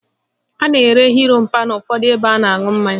A na-ere òó mpa n' ụfọdụ ụlọ ebe a na-aṅụ mmanya